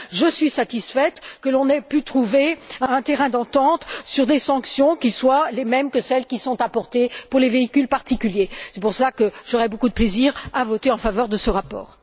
Je suis satisfaite que l'on ait pu trouver un terrain d'entente sur des sanctions qui soient les mêmes que celles qui sont apportées pour les véhicules particuliers. C'est pour cela que j'aurai beaucoup de plaisir à voter en faveur de ce rapport.